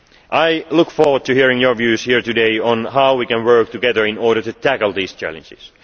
it faces. I look forward to hearing your views here today on how we can work together to tackle these